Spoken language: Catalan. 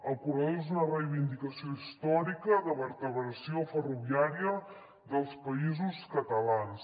el corredor és una reivindicació històrica de vertebració ferroviària dels països catalans